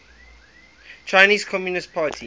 chinese communist party